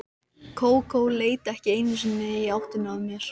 Kókó leit ekki einu sinni í áttina að mér.